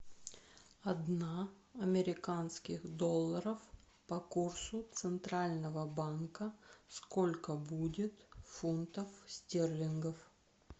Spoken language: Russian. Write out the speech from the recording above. одна американских долларов по курсу центрального банка сколько будет фунтов стерлингов